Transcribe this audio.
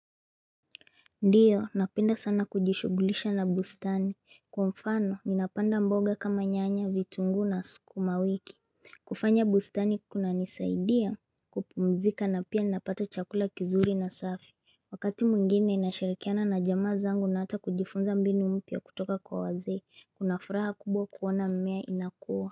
Ndiyo napenda sana kujishughulisha na bustani kwa mfano ninapanda mboga kama nyanya vitunguu na sukuma wiki kufanya bustani kunanisaidia kupumzika na pia ninapata chakula kizuri na safi Wakati mwingine ninashirikiana na jamaa zangu na hata kujifunza mbinu mpya kutoka kwa wazee kuna furaha kubwa kuona mimea inakua.